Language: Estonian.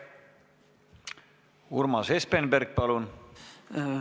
Urmas Espenberg, palun!